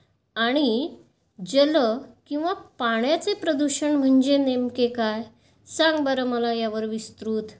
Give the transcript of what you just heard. आणि जल किंवा पाण्याचे प्रदूषण म्हणजे नेमके काय? सांग बरं मला यावर विस्तृत.